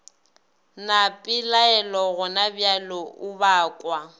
na pelaelo gonabjale o bakwa